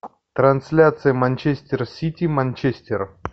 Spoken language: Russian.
трансляция манчестер сити манчестер